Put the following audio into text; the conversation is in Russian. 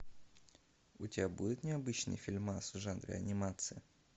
у тебя будет необычный фильмас в жанре анимация